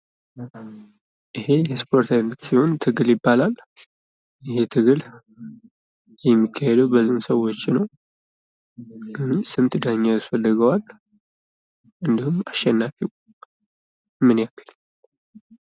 ይሄ የእስፖርት አይነት ሲሆን ትግል ይባላል። ይሄ ትግል የሚካሄደው በስንት ሰዎች ነው? ስንት ዳኛ ያስፈልገዋል። እንዲሁም አሸናፊው ምን ያክል ነዉ?